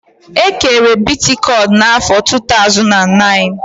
E kere Bitikoin na afọr 2009